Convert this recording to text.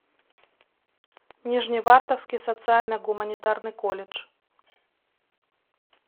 нижневартовский социально гуманитарный колледж